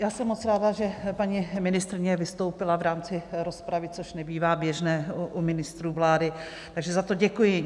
Já jsem moc ráda, že paní ministryně vystoupila v rámci rozpravy, což nebývá běžné u ministrů vlády, takže za to děkuji.